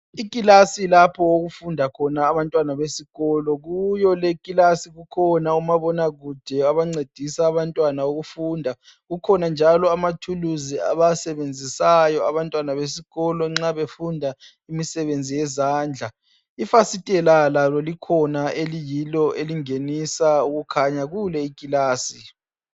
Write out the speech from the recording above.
Ikilasi lapho okufunda khona abantwana besikolo, kuyo le ikilasi kukhona omabonakude abancedisa abantwana ukufunda, kukhona njalo ama thuluzi abawasebenzisayo abantwana besikolo nxa befunda imsebenzi yezandla. Ifastela lalo likhona eliyilo elingenisa ukukhanya kule ikilasi.